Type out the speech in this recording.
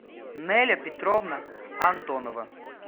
неля петровна антонова